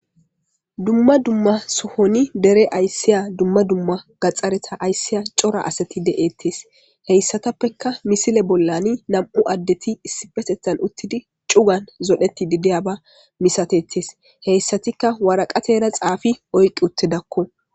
Duma duma sohon dere asiza asati duma duma gaxareta aysiza cora asati de'etes haysatappeka miisile bollan 2 adeti issippeteta uttidi cugan cugan zoretishe diyaba misatetes hesatika waraqatara xafi oyqi uttidako